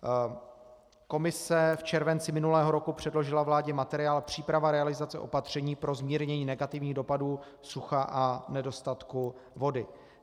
Komise v červenci minulého roku předložila vládě materiál Příprava realizace opatření pro zmírnění negativních dopadů sucha a nedostatku vody.